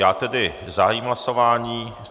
Já tedy zahájím hlasování teď.